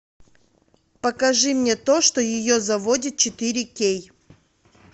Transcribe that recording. покажи мне то что ее заводит четыре кей